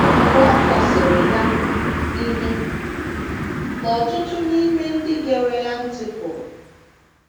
Mgbe ọ kọsịrị ya, ihe ka ọtụtụ n’ime ndị gere ya ntị pụrụ.